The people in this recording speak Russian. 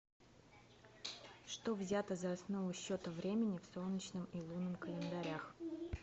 что взято за основу счета времени в солнечном и лунном календарях